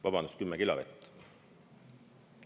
Vabandust, 10 kilo vett.